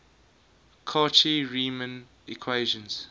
cauchy riemann equations